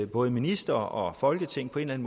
både ministre og folketing på en